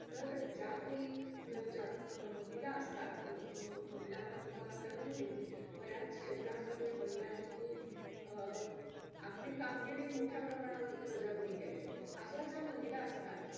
अ मला त्या शाळेमध्ये खूप अ चांगले शिक्षक आणि मित्र पण मित्रमैत्रिणी भेटले. आम्हाला दुसरीला